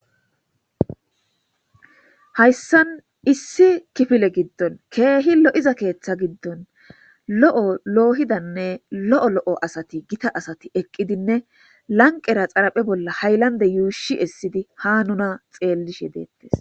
hayssan issi kifile giddon keehi lo7iza keeththa giddon lo7o loohidanne lo7o lo7o asati gita asati eqqidinne lanqera xaraphe bolla haylande yuushi essidi ha nuna xeellishe deettes